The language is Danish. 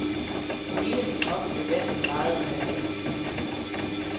Hele min krop blev vendt og drejet i vandmassen.